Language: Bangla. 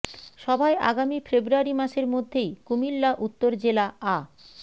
সভায় আগামী ফেব্রুয়ারি মাসের মধ্যেই কুমিল্লা উত্তর জেলা আ